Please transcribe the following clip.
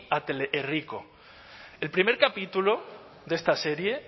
a teleherriko el primer capítulo de esta serie